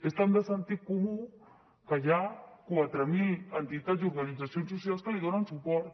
és tan de sentit comú que hi ha quatre mil entitats i organitzacions socials que hi donen suport